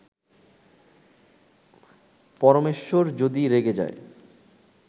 পরমেশ্বর যদি রেগে যায়